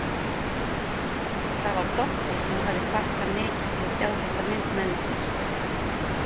Það var Doddi sem hafði hvatt hann mikið til að sjá þessa mynd með sér.